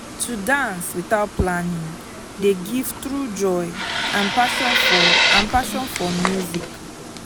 to dance without planning dey give true joy and passion for and passion for music.